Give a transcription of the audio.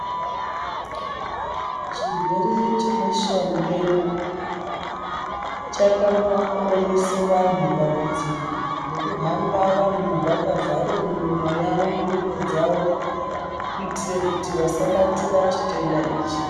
Chirwere chebeshamupengo, chakamboonese vanhu dambudziko, rekuhamba vanhu vakavhare miromo yavo nemiro dzavo, kuitire kuti vasabatire chitenda ichi.